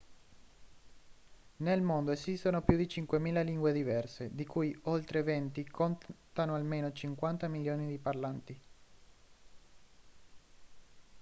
nel mondo esistono più di 5.000 lingue diverse di cui oltre 20 contano almeno 50 milioni di parlanti